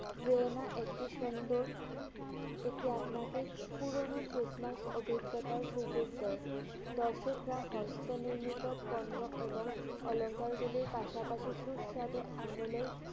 জেনা একটি সুন্দর। এটি আপনাকে পুরনো Christmas অভিজ্ঞতার সুযোগ দেয়। দর্শকরা হস্ত নির্মিত পণ্য এবং অলঙ্কারগুলি পাশাপাশি সুস্বাদু আঙ্গুলের